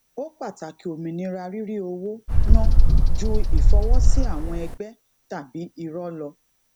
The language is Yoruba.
ó pàtàkì òmìnira rírí owó ná ju ìfọwọsí àwọn ẹgbẹ tàbí irọ lọ